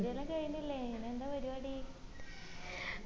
degree എല്ലാം കഴിഞ്ഞില്ലേ ഇനി എന്താ പരിപാടി